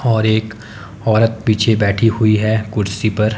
और एक औरत पीछे बैठी हुई है कुर्सी पर--